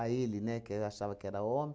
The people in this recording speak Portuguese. ele, né, que achava que era homem.